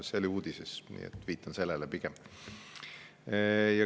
See oli uudises, nii et viitan sellele pigem.